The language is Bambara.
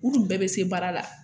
U dun bɛɛ bɛ se baara la.